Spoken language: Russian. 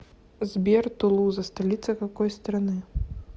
сбер тулуза столица какой страны